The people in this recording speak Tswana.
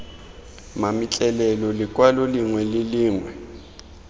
mametlelelo lekwalo lengwe le lengwe